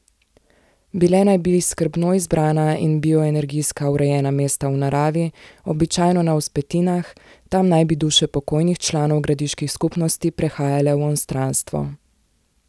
Bile naj bi skrbno izbrana in bioenergijsko urejena mesta v naravi, običajno na vzpetinah, tam naj bi duše pokojnih članov gradiških skupnosti prehajale v onstranstvo.